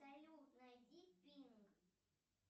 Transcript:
салют найди пинк